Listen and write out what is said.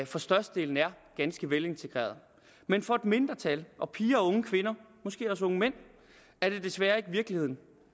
for størstedelen er ganske velintegrerede men for et mindretal piger og unge kvinder og måske også unge mænd er det desværre ikke virkeligheden